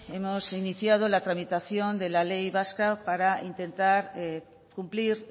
hemos iniciado la tramitación de la ley vasca para intentar cumplir